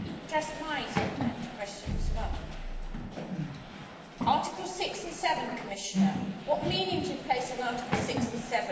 Articles 6 and 7, Commissioner what meaning do you place on Articles 6 and 7 in the light of your reply and the mechanism for pursuing breaches?